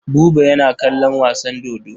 Buba yana kallon wasan dodo.